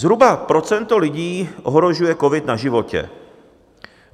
Zhruba procento lidí ohrožuje covid na životě.